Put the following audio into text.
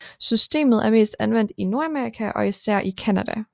Systemet er mest anvendt i Nordamerika og især i Canada